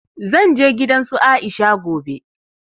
Zan je gidan su Aisha gobe